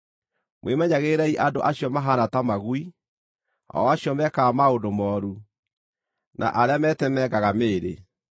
Mwĩmenyagĩrĩrei andũ acio mahaana ta magui, o acio mekaga maũndũ mooru, na arĩa metemengaga mĩĩrĩ.